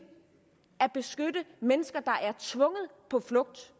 at beskytte mennesker der er tvunget på flugt